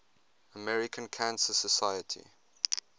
american cancer society